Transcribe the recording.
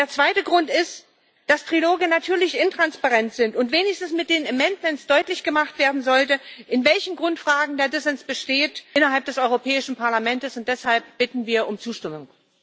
Der zweite Grund ist, dass Triloge natürlich intransparent sind und wenigstens mit den Änderungsanträgen deutlich gemacht werden sollte, in welchen Grundfragen der Dissens innerhalb des Europäischen Parlamentes besteht. Deshalb bitten wir um Zustimmung.